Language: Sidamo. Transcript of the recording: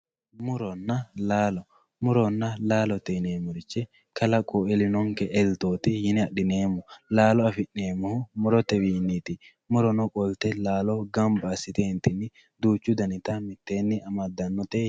Murona laalo, murona laalote yineemmorichi kalaqu elinonke eltoti yineemmo laalo afi'neemmohu murotewinniti, murono qolte laalo gamba assitetini gamba assite mitteeni amadanote.